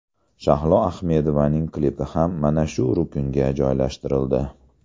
Shahlo Ahmedovaning klipi ham mana shu ruknga joylashtirildi .